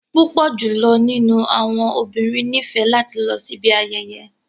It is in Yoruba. Pupọ julọ ninu awọn obinrin nifẹ lati lọ sibi ayeye.